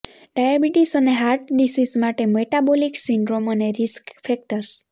diabetes અને heart disease માટે metabolic syndrome અને રિસ્ક ફેક્ટર્સ